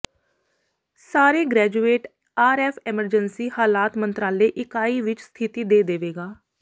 ਸਾਰੇ graduate RF emergency ਹਾਲਾਤ ਮੰਤਰਾਲੇ ਇਕਾਈ ਵਿੱਚ ਸਥਿਤੀ ਦੇ ਦੇਵੇਗਾ